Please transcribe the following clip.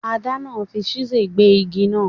Adana fi chisel gbé igi náà